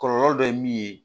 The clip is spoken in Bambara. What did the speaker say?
Kɔlɔlɔ dɔ ye min ye